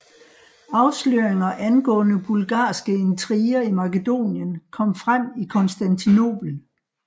Afsløringer angående bulgarske intriger i Makedonien kom frem i Konstantinopel